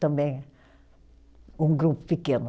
Também um grupo pequeno.